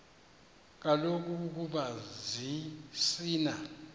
kaloku ukoba zisina